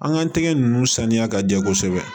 An ka tɛgɛ ninnu saniya ka jɛ kosɛbɛ